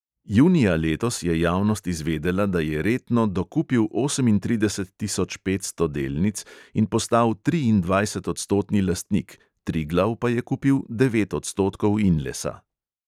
Junija letos je javnost izvedela, da je retno dokupil osemintrideset tisoč petsto delnic in postal triindvajsetodstotni lastnik, triglav pa je kupil devet odstotkov inlesa.